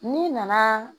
N'i nana